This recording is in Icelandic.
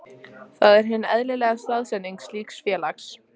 Það er hin eðlilega staðsetning slíks félags.